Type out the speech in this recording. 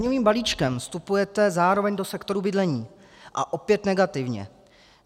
Daňovým balíčkem vstupujete zároveň do sektoru bydlení, a opět negativně.